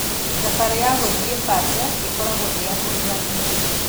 Thabarĩ ya gũthiĩ Bate ĩgakorwo ĩĩ ya kũgegania.